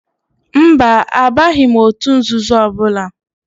Mba, abaghị m òtù nzuzo ọbụla.